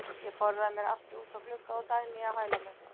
Ég forðaði mér aftur út að glugga og Dagný á hæla mér.